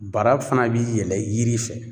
Bara fana bi yɛlɛ yiri fɛ.